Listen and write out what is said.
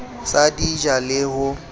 sa di ja le ho